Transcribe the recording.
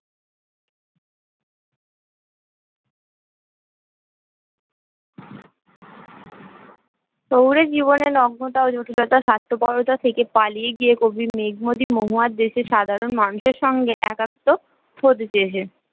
শহুরে জীবনে নগ্নতা ও জটিলতা স্বার্থপরতা থেকে পালিয়ে গিয়ে কবির মেঘ মদির মহুয়ার দেশের সাধারণ মানুষের সঙ্গে একাত্ম হতে চেয়েছে